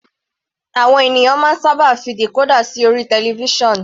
Àwọn ènìyàn máa ń sábà fi decorder sí orí television.